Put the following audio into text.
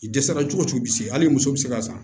I dɛsɛra cogo o cogo hali i muso bɛ se ka san